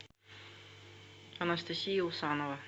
анастасия усанова